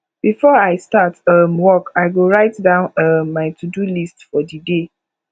before i start um work i go write down um my todo list for di day